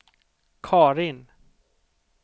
Karin